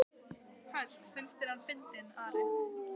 Hödd: Finnst þér hann fyndinn, Ari?